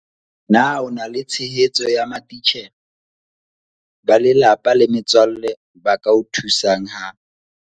Na o na le tshehetso ya matitjhere, ba lelapa le metswalle ba ka o thusang ha